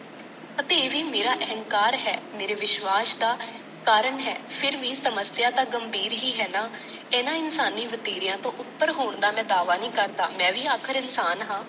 ਅਤੇ ਇਹ ਵੀ ਮੇਰਾ ਅਹੰਕਾਰ ਹੈ ਮੇਰੇ ਵਿਸ਼ਵਾਸ ਦਾ ਕਾਰਣ ਹੈ, ਫੇਰ ਵੀ ਸਮੱਸਿਆ ਤਾਂ ਗੰਭੀਰ ਹੀ ਹੈ ਨਾ। ਇਹਨਾਂ ਇਨਸਾਨੀ ਵਤੀਰਿਆਂ ਤੋਂ ਉਪੱਰ ਹੋਣ ਦਾ ਮੈਂ ਦਾਅਵਾ ਨਹੀਂ ਕਰਦਾ, ਮੈਂ ਵੀ ਆਖਰ ਇਨਸਾਨ ਹਾਂ।